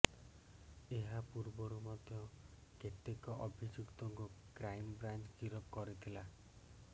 ଏହା ପୂର୍ବରୁ ମଧ୍ୟ କେତେକ ଅଭିଯୁକ୍ତଙ୍କୁ କ୍ରାଇମ୍ ବ୍ରାଞ୍ଚ ଗିରଫ କରିଥିଲା